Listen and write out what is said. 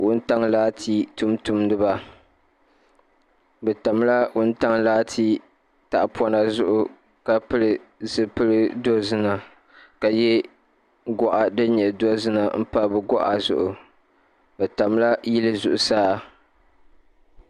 Wuntaŋa laati tuuntumdiba ni tami la wuntaŋ laati tahi pɔŋna zuɣu ka pili zupiligu dozima ka ye gɔɣa dini nyɛ dozima n pa bi gɔɣa zuɣu bi tami la yili zuɣusaa.